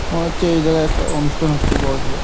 মনে হচ্ছে এই জায়গায় একটা অনুষ্ঠান হচ্ছে বড় সর।